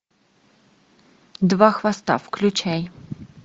два хвоста включай